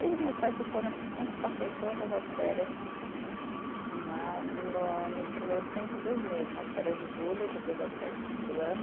Desde que meus pais se foram, eu sempre passei todas as férias né no nos primeiros tempos, dois meses né, as férias de julho, depois as férias de fim do ano.